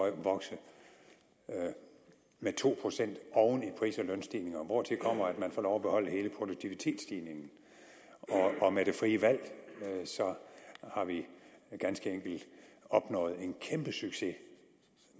at vokse med to procent oven i pris og lønstigningerne hvortil kommer at man får lov til at beholde hele produktivitetsstigningen med det frie valg har vi ganske enkelt opnået en kæmpesucces